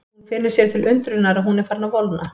Hún finnur sér til undrunar að hún er farin að volgna.